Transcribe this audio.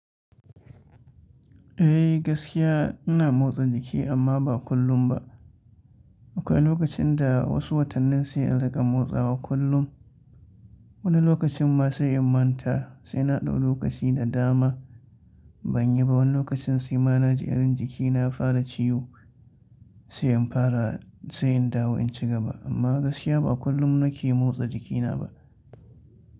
Eh gaskiya ina motsa jiki amma ba kullum ba. Akwai lokacin da wasu watannin sai in riƙa motsawa kullum. Wani lokacin ma sai in manta sai na ɗau lokaci da dama ban yi ba. Wani lokacin sai ma na ji irin jikina ya fara ciwo sai in fara sai in dawo in cigaba. Amma gaskiya ba kullum na ke motsa jikina ba.